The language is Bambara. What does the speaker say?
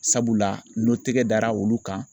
Sabula n'o tɛgɛ dara olu kan